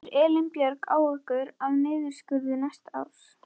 Hefur Elín Björg áhyggjur af niðurskurði næsta árs?